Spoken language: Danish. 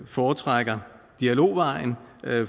foretrækker dialogvejen